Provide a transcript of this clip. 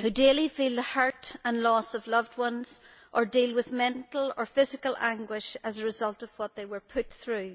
who daily feel the hurt and loss of loved ones or deal with mental or physical anguish as a result of what they were put through.